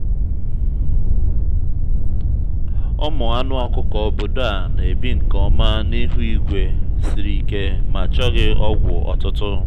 ụmụ anụ ọkụkọ obodo a na-ebi nke ọma n’ihu igwe siri ike ma chọghị ọgwụ ọtụtụ.